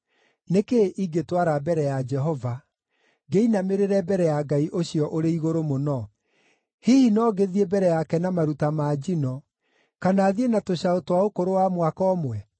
Nĩ kĩĩ ingĩtwara mbere ya Jehova, ngĩinamĩrĩre mbere ya Ngai ũcio ũrĩ igũrũ mũno? Hihi no ngĩthiĩ mbere yake na maruta ma njino, kana thiĩ na tũcaũ twa ũkũrũ wa mwaka ũmwe?